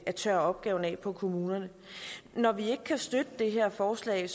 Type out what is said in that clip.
at tørre opgaven af på kommunerne når vi ikke kan støtte det her forslag